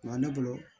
Wa ne bolo